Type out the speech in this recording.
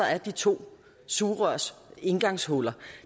er de to sugerørs indgangshuller